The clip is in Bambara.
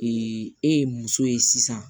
e ye muso ye sisan